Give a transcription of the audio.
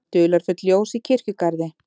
Dularfull ljós í kirkjugarði